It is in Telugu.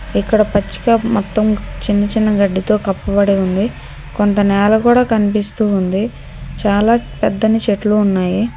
ఇక్కడ పచ్చి కాపు మొత్తం చిన్న చిన్న గడ్డితో కప్పబడి ఉంది కొంత నేల కూడా కనిపిస్తూ ఉంది చాలా పెద్దని చెట్లు ఉన్నాయి.